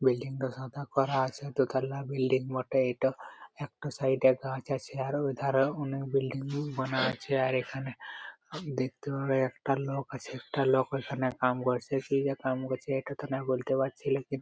Building তা সাদা করা আছে | দোতালা বিল্ডিং বটে এইট একটা সাইড -এ গাছ আছে | আর ঐধারে ও অনেক বিল্ডিং বানা আছে | আর ওইখানে দেখতে একটা লোক আছে একটা লোক ঐখানে কাম করছে কি যে কাম করছে ওইটা তো জানিনা ।